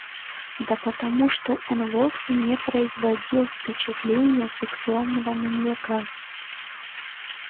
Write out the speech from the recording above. да потому что он вовсе не производил впечатления сексуального маньяка